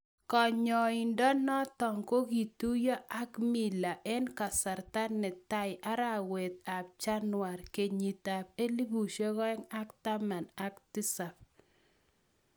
kanyoindo natok kogituiyo ak mila eng kasarta netai arawet ap chanwar kenyit ap 2017